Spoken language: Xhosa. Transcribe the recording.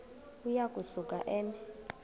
uya kusuka eme